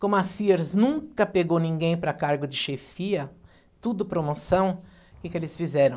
Como a Sears nunca pegou ninguém para cargo de chefia, tudo promoção, o que que eles fizeram?